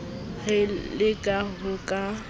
re le ha ho ka